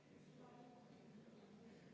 Ettepanek leidis toetust.